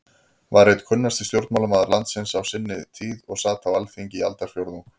var einn kunnasti stjórnmálamaður landsins á sinni tíð og sat á Alþingi í aldarfjórðung.